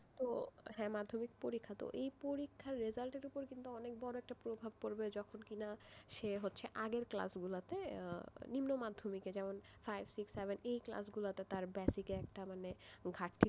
তো হ্যাঁ মাধ্যমিক পরীক্ষা তো, এই পরীক্ষার result এর উপর অনেক বড় একটা প্রভাব পড়বে যখন কিনা সে হচ্ছে আগের class গুলোতে যেমন নিম্ন মাধ্যমিক যেমন five six seven এই class গুলোতে তার basic একটা মানে ঘাটতি,